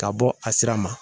Ka bɔ a sira ma